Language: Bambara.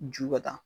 Ju ka taa